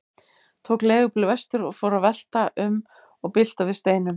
Tók leigubíl vestur og fór að velta um og bylta við steinum.